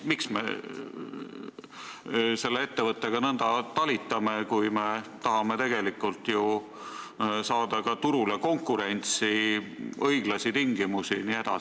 Miks me selle ettevõttega nõnda talitame, kui me tahame, et turul oleks konkurents ja õiglased tingimused?